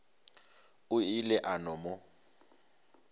o ile a no mo